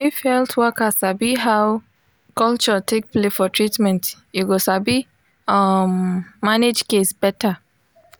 if health worker sabi how culture take play for treatment e go sabi um manage case better